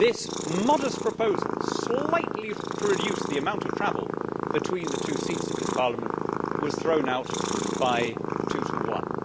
This modest proposal slightly to reduce the amount of travel between the two seats of this Parliament was thrown out by two to one.